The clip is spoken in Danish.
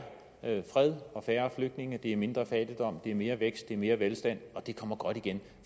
fred og færre flygtninge det er mindre fattigdom det er mere vækst det er mere velstand og det kommer godt igen